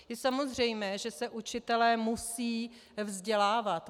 Je samozřejmé, že se učitelé musí vzdělávat.